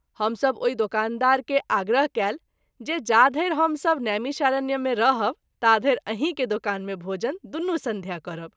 हम सभ ओहि दुकानदार के आग्रह कएल जे जाधरि हम सभ नैमिषारण्य मे रहब ताधरि अहीं के दुकान मे भोजन दुनू संध्या करब।